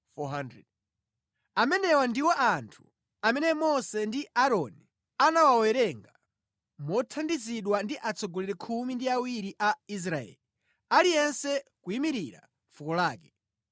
Amenewa ndiwo anthu amene Mose ndi Aaroni anawawerenga mothandizidwa ndi atsogoleri khumi ndi awiri a Israeli, aliyense kuyimira fuko lake.